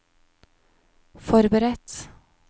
forberedt